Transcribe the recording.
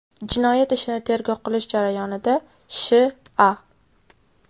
Jinoyat ishini tergov qilish jarayonida Sh.A.